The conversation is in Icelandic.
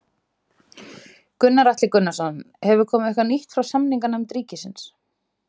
Gunnar Atli Gunnarsson: Hefur komið eitthvað nýtt frá samninganefnd ríkisins?